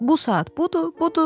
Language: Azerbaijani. Bu saat budur, budur.